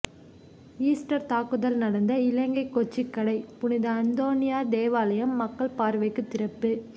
Easter தாக்குதல் நடந்த இலங்கை கொச்சிக்கடை புனித அந்தோனியார் தேவாலயம் மக்கள் பார்வைக்கு திறப்பு